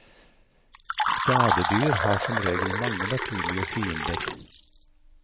Skadedyr har som regel mange naturlige fiender.